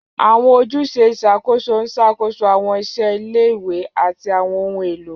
Àwọn ojúṣe ìṣàkóso ń ṣàkóso àwọn iṣẹ́ ilé-ìwé àti àwọn ohun èlò.